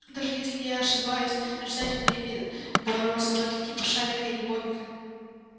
даже если я ошибаюсь нарицательное имя дворовой собачки типа шарика или бобика